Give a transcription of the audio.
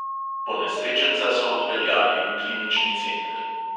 Ponesrečenca so odpeljali v klinični center.